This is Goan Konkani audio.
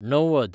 णव्वद